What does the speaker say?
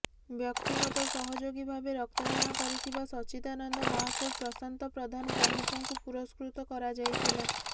ବ୍ୟକ୍ତିଗତ ସହେଯାଗୀ ଭାବେ ରକ୍ତଦାନ କରିଥିବା ସଚ୍ଚିଦାନନ୍ଦ ମହାକୁଡ ପ୍ରଶାନ୍ତ ପ୍ରଧାନ ପ୍ରମୂଖଙ୍କୁ ପୁରସ୍କୃତ କରାଯାଇଥିଲା